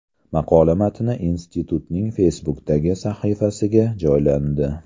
Maqola matni institutning Facebook’dagi sahifasiga joylandi .